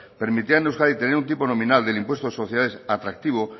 permitirán en euskadi tener un tipo nominal del impuesto de sociedades atractivo